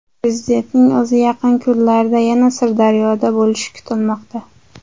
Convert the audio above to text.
Prezidentning o‘zi yaqin kunlarda yana Sirdaryoda bo‘lishi kutilmoqda.